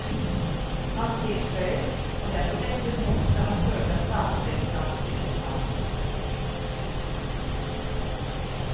Han tilføyer at det er på dette punktet han føler at plateselskapet sviktet ham.